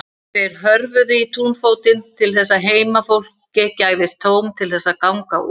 Þeir hörfuðu í túnfótinn til þess að heimafólki gæfist tóm til þess að ganga út.